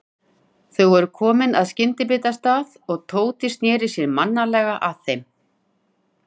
Þau voru komin að skyndibitastað og Tóti sneri sér mannalega að þeim.